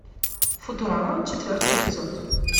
футурама четвертый эпизод